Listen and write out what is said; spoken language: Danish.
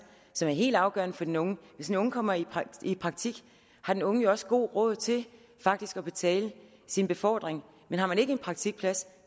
som er helt afgørende for den unge hvis den unge kommer i praktik har den unge jo faktisk også god råd til at betale sin befordring men har man ikke en praktikplads